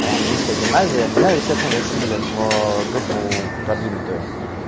английская гимназия меня естественно закинули в группу продвинутую